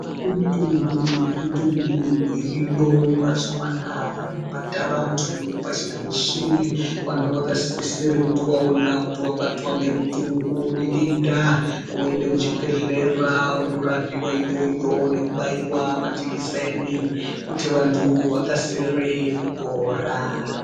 Kune mitongo nemitongo iriyo mazuwa anaya inobata vantu pashi reshe vantu vakasisire kuti vaona kuti vabatwa ngemutongo nedenda woende kuchibhedhlera wondorapiwa iyoyo nekubaiwa majikiseni kuti vantu vakasire kupora.